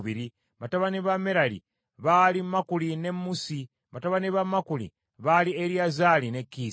Batabani ba Merali baali Makuli ne Musi. Batabani ba Makuli baali Eriyazaali ne Kiisi.